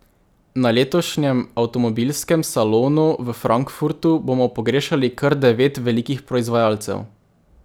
Na letošnjem avtomobilskem salonu v Frankfurtu bomo pogrešali kar devet velikih proizvajalcev.